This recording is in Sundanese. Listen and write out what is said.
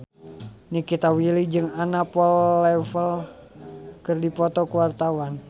Nikita Willy jeung Anna Popplewell keur dipoto ku wartawan